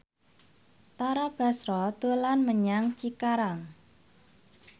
Tara Basro dolan menyang Cikarang